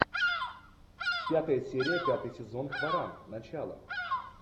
пятая серия пятый сезон хваран начало